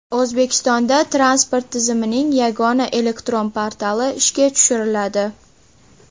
O‘zbekistonda transport tizimining yagona elektron portali ishga tushiriladi.